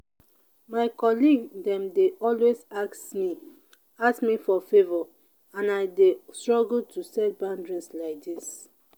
my colleague dem dey always ask me ask me for favor and i dey struggle to set boundary like dis.